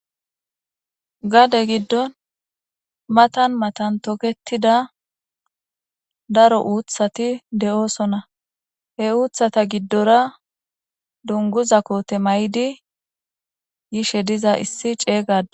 gade giddon matan matan toketida daro uuthati de'osona, he uuthata giddora dunguza koote may'idi yishe diza issi cega ade